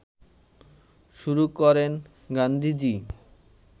শুরু করেন গান্ধীজি